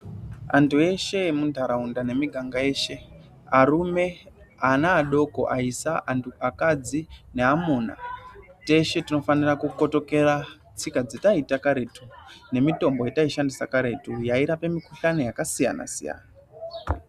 Antu eshe emundaraunda nemiganga yeshe arume, ana adoko , aisa , antu akadzi neamuna teshe tinofanira kukotokera tsika dzetaiita karetu nemitombo yetaishandisa karetu yairape mikuhlani yakasiyana siyana.